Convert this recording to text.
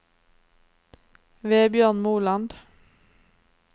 Vebjørn Moland